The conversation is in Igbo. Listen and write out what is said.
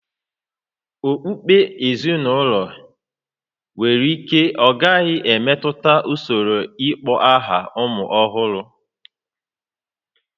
Okpukpe ezinụlọ nwere ike ọ gaghị emetụta usoro ịkpọ aha ụmụ ọhụrụ